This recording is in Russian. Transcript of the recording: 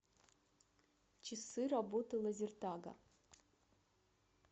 часы работы лазертага